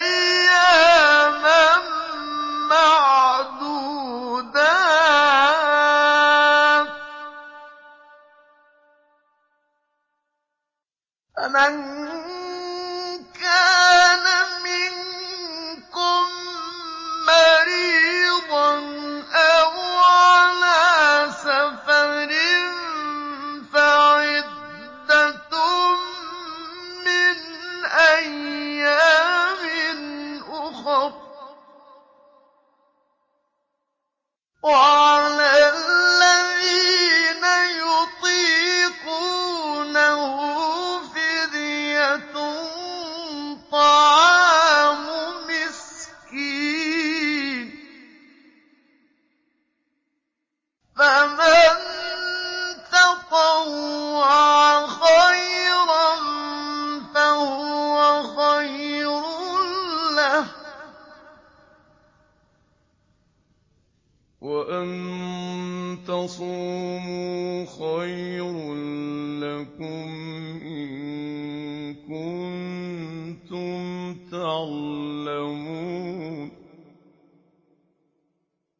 أَيَّامًا مَّعْدُودَاتٍ ۚ فَمَن كَانَ مِنكُم مَّرِيضًا أَوْ عَلَىٰ سَفَرٍ فَعِدَّةٌ مِّنْ أَيَّامٍ أُخَرَ ۚ وَعَلَى الَّذِينَ يُطِيقُونَهُ فِدْيَةٌ طَعَامُ مِسْكِينٍ ۖ فَمَن تَطَوَّعَ خَيْرًا فَهُوَ خَيْرٌ لَّهُ ۚ وَأَن تَصُومُوا خَيْرٌ لَّكُمْ ۖ إِن كُنتُمْ تَعْلَمُونَ